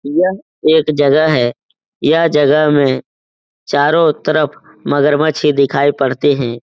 यह एक जगह है। यह जगह में चारो तरफ मगरमच्छ ही दिखाई पड़ते हैं।